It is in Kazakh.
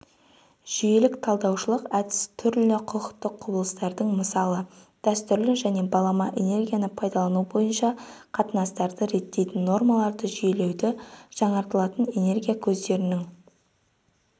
жүйелік-талдаушылық әдіс түрлі құқықтық құбылыстардың мысалы дәстүрлі және балама энергияны пайдалану бойынша қатынастарды реттейтін нормаларды жүйелеуді жаңартылатын энергия көздерінің